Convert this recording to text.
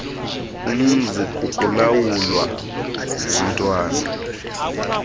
umzi kukulawulwa ngumntwana